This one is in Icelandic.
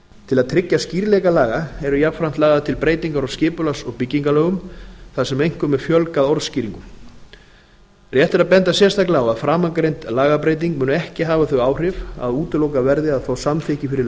til að tryggja skýrleika laga eru jafnframt lagðar til breytingar á skipulags og byggingarlögum þar sem einkum er fjölgað orð rétt er að benda sérstaklega á að framangreind lagabreyting mun ekki hafa þau áhrif að útilokað verði að fá samþykki fyrir